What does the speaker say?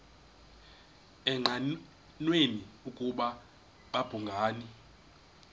engqanweni ukuba babhungani